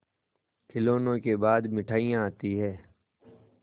खिलौनों के बाद मिठाइयाँ आती हैं